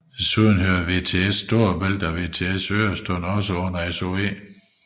Derudover hører VTS Storebælt og VTS Øresund også under SOE